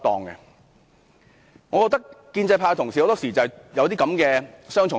我覺得建制派同事很多時抱持這種雙重標準。